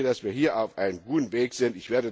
Ich denke, dass wir hier auf einem guten Weg sind.